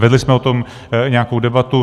Vedli jsme o tom nějakou debatu.